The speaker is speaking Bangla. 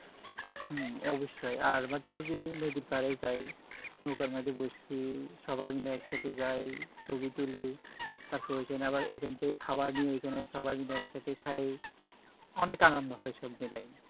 হম অবশই আর মাঝে মাঝে নদীর পারে যাই নৌকার মাজে বসি সবই মিলে একসাথে যাই ছবি তলি তারপরে এইখান থেকে খাবার নিয়ে ঐখানে সবাই মিলে খাই অনেক আনন্দ হয়